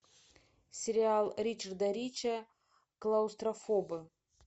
сериал ричарда рича клаустрофобы